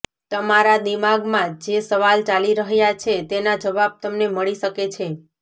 તમારા દિમાગમાં જે સવાલ ચાલી રહ્યાં છે તેના જવાબ તમને મળી શકે છે